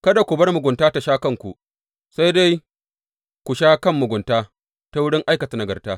Kada ku bar mugunta ta sha kanku, sai dai ku sha kan mugunta ta wurin aikata nagarta.